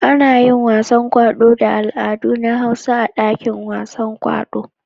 Ana yin wasan kwaɗo da al'adun na Hausa a dakin wasan kwaɗo.